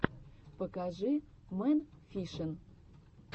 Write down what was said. покажи мэн фишин